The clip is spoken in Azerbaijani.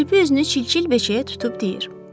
Kirpi üzünü çilçil beçəyə tutub deyir: